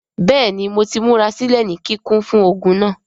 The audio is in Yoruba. Bẹẹni Mo ti murasilẹ ni kikun fun ogun naa.